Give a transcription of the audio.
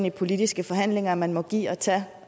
i politiske forhandlinger at man må give og tage